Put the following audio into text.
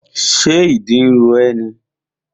Ṣé ìdí ro ẹ́ ni?